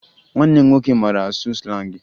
Nwanne m nwoke mara asụ slangị